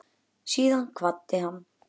Síðan kvaddi hann